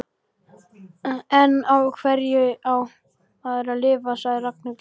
En á hverju á maður að lifa? sagði Ragnhildur.